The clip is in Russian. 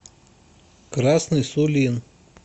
красный сулин